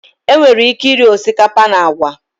Enwere ike iri osikapa na agwa